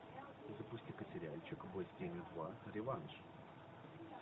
запусти ка сериальчик бой с тенью два реванш